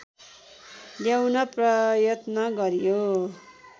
ल्याउन प्रयत्न गरियो